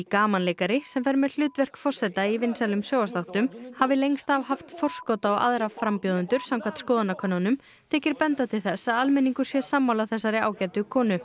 gamanleikari sem fer með hlutverk forseta í vinsælum sjónvarpsþáttum hafi lengst af haft forskot á aðra frambjóðendur samkvæmt skoðanakönnunum þykir benda til þess að almenningur sé sammála þessari ágætu konu